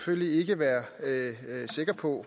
på